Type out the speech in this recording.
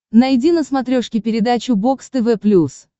найди на смотрешке передачу бокс тв плюс